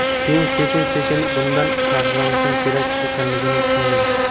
Keyin sekin sekin bundan faxrlanishim kerak ekanligini tushundim.